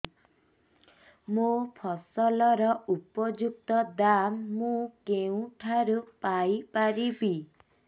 ମୋ ଫସଲର ଉପଯୁକ୍ତ ଦାମ୍ ମୁଁ କେଉଁଠାରୁ ପାଇ ପାରିବି